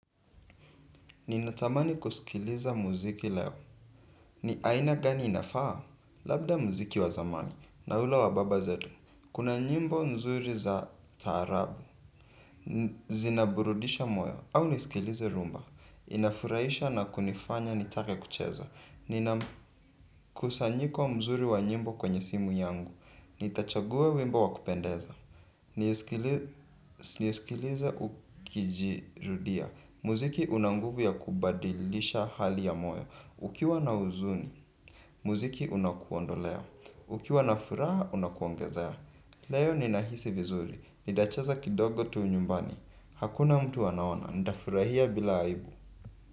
Ninatamani kusikiliza muziki leo. Ni aina gani inafaa? Labda muziki wa zamani. Na ule wa baba zetu. Kuna nyimbo nzuri za tarabu. Zinaburudisha moyo au niskilize rhumba. Inafuraisha na kunifanya nitake kucheza. Ninamkusanyiko mzuri wa nyimbo kwenye simu yangu. Nitachagua wimbo wa kupendeza. Nisikilize ukijirudia. Muziki una nguvu ya kubadilisha hali ya moyo. Ukiwa na huzuni, muziki unakuondolea ukiwa na furaha unakuongezea. Leo ninahisi vizuri, nitacheza kidogo tu nyumbani. Hakuna mtu anaona, ntafurahia bila aibu.